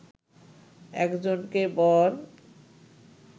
একজনকে বর